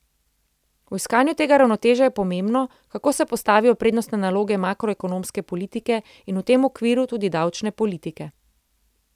V iskanju tega ravnotežja je pomembno, kako se postavijo prednostne naloge makroekonomske politike in v tem okviru tudi davčne politike.